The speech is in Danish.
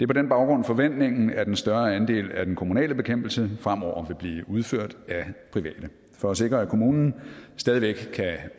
på den baggrund forventningen at en større andel af den kommunale bekæmpelse fremover vil blive udført af private for at sikre at kommunen stadig væk kan